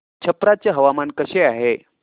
छप्रा चे हवामान कसे आहे